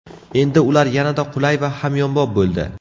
Endi ular yanada qulay va hamyonbop bo‘ldi!